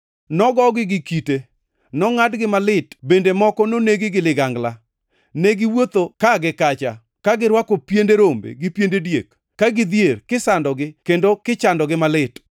Nogogi gi kite, nongʼadgi malit bende moko nonegi gi ligangla. Ne giwuotho ka gi kacha, ka girwako piende rombe gi piende diek, kagidhier kisandogi kendo kichandogi malit;